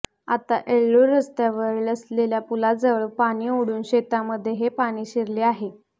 आता येळ्ळूर रस्त्यावर असलेल्या पुलाजवळ पाणी अडून शेतामध्ये हे पाणी शिरले आहे